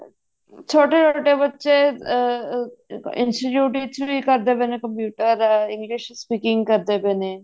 ਛੋਟੇ ਛੋਟੇ ਬੱਚੇ ਅਮ institute ਵਿੱਚ ਵੀ ਕਰਦੇ ਪਏ ਨੇ computer ਦਾ English speaking ਕਰਦੇ ਨੇ